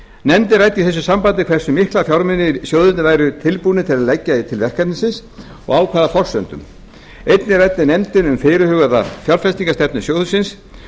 nefndin ræddi í þessu sambandi hversu mikla fjármuni sjóðirnir væru tilbúnir að leggja til verkefnisins og á hvaða forsendum einnig ræddi nefndin um fyrirhugaða fjárfestingarstefnu sjóðsins